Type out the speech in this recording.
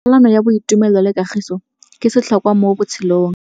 Tsalano ya boitumelo le kagiso ke setlhôkwa mo botshelong.